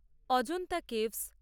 Ajanta caves